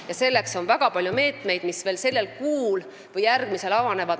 Ja selleks on meil väga palju meetmeid, mis veel sellel või järgmisel kuul avanevad.